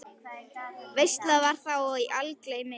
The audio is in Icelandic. Veisla var þá í algleymi á hlaði.